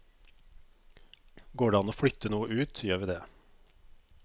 Går det an å flytte noe ut, gjør vi det.